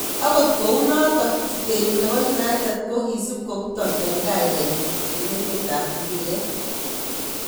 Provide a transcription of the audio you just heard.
Akot kunotok, chutenyi nebo United kokisup koputok eng kainet nyin eng emte ab mbiret.